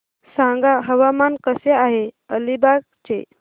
सांगा हवामान कसे आहे अलिबाग चे